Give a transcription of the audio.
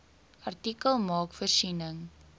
artikel maak voorsiening